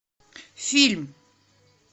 фильм